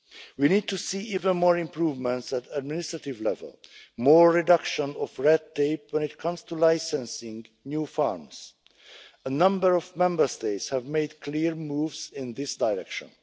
We need to see even more improvements at administrative level more reduction of red tape when it comes to licensing new farms a number of Member States have made clear moves in this direction.